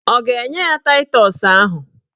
Ọ ga-enye ya taịtọs ahụ?